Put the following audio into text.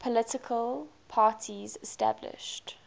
political parties established